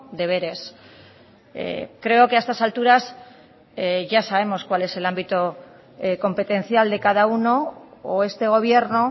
deberes creo que a estas alturas ya sabemos cuál es el ámbito competencial de cada uno o este gobierno